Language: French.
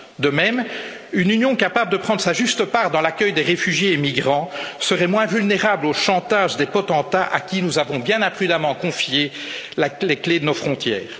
De même, une Union capable de prendre sa juste part dans l'accueil des réfugiés et migrants serait moins vulnérables au chantage des potentats à qui nous avons bien imprudemment confié les clés de nos frontières.